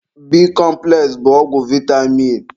Bikọmpụles bụ ọgwụ vaịtamin.